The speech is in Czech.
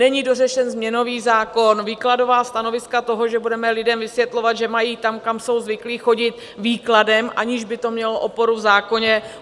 Není dořešen změnový zákon, výkladová stanoviska toho, že budeme lidem vysvětlovat, že mají tam, kam jsou zvyklí chodit výkladem, aniž by to mělo oporu v zákoně.